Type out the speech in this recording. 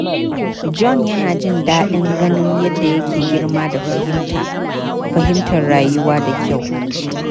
John yana jin daɗin ganin yadda yake girma da fahimtar rayuwa da kyau.